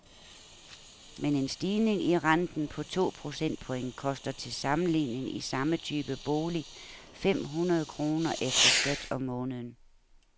Men en stigning i renten på to procentpoint koster til sammenligning i samme type bolig fem hundrede kroner efter skat om måneden.